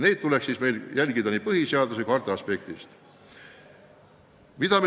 Neid tuleks meil järgida nii põhiseaduse kui harta aspektist.